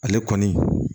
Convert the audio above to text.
Ale kɔni